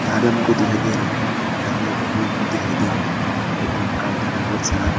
ये हमको दिखाई दे रहा है यहां में एक रूम दिखाई दे रहा है एक रूम का अंदर में बहुत सारा--